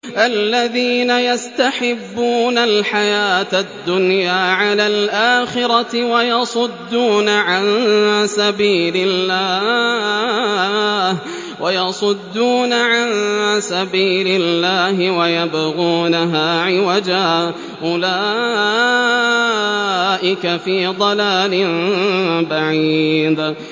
الَّذِينَ يَسْتَحِبُّونَ الْحَيَاةَ الدُّنْيَا عَلَى الْآخِرَةِ وَيَصُدُّونَ عَن سَبِيلِ اللَّهِ وَيَبْغُونَهَا عِوَجًا ۚ أُولَٰئِكَ فِي ضَلَالٍ بَعِيدٍ